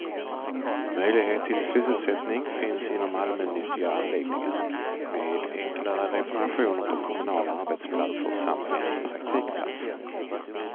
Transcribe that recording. Möjlighet till sysselsättning finns inom allmännyttiga anläggningar, med enklare reparationer på kommunala arbetsplatser samt genom praktikplatser.